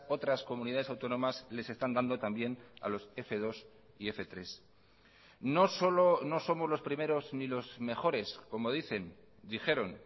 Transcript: otras comunidades autónomas les están dando también a los f dos y f tres no solo no somos los primeros ni los mejores como dicen dijeron